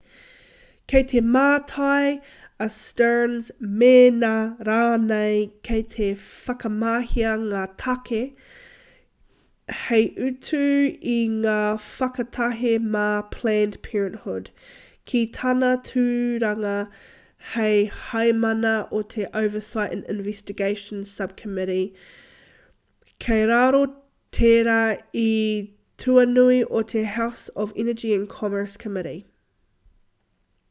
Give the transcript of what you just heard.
kei te mātai a stearns mēnā rānei kei te whakamahia ngā tāke hei utu i ngā whakatahe mā planned parenthood ki tāna tūranga hei heamana o te oversight and investigations subcommittee kei raro tērā i te tuanui o te house energy and commerce committee